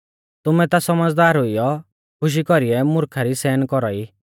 तुमैं ता सौमझ़दार हुइयौ खुशी कौरीऐ मुर्खा री सहन कौरा ई